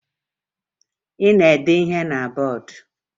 Ị na-ede ihe na bọọdụ?